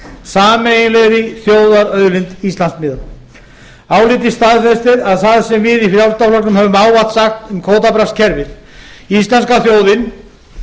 sameiginlegri þjóðarauðlind íslandsmiða álitið staðfestir að það sem við í frjálslynda flokknum höfum ávallt sagt um kvótabraskskerfi íslenska þjóðin